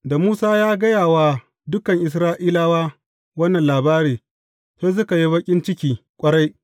Da Musa ya gaya wa dukan Isra’ilawa wannan labari, sai suka yi baƙin ciki ƙwarai.